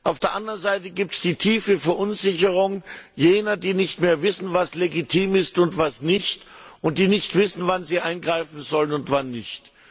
Auf der anderen Seite gibt es die tiefe Verunsicherung jener, die nicht mehr wissen, was legitim ist und was nicht, und die nicht wissen, wann sie eingreifen sollen und wann nicht.